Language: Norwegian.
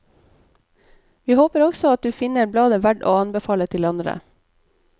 Vi håper også at du finner bladet verdt å anbefale til andre.